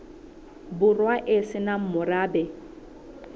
borwa e se nang morabe